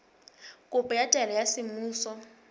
kopo ya taelo ya semmuso